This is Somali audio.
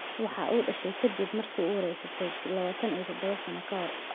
Waxa uu dhashay ka dib markii uu uuraysatay labataan iyo todoba sano ka hor